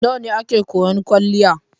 Nawa ne ake koyan kwaliya?